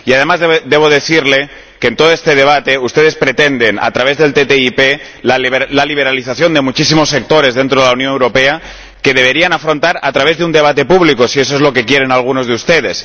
Además, debo decirle que en todo este debate ustedes pretenden, a través de la ATCI, la liberalización de muchísimos sectores dentro de la Unión Europea que deberían afrontar a través de un debate público, si eso es lo que quieren algunos de ustedes.